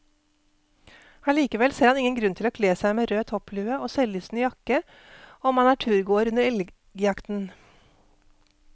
Allikevel ser han ingen grunn til å kle seg med rød topplue og selvlysende jakke om man er turgåer under elgjakten.